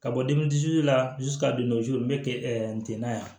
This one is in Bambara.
Ka bɔ la ka don n bɛ n tɛ na yan